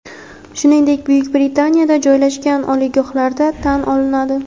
shuningdek Buyuk Britaniyada joylashgan) oliygohlarda tan olinadi.